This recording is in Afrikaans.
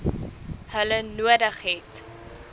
hulle nodig het